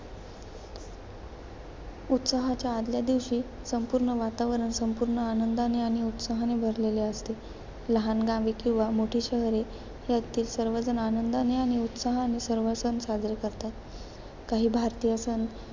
उत्सवाच्या आदल्या दिवशी संपूर्ण वातावरण संपूर्ण आनंदाने आणि उत्साहाने भरलेले असते. लहान गावे किंवा मोठी शहरे, यातील सर्वजण आनंदाने आणि उत्साहाने सर्व सण साजरे करतात. काही भारतीय सण,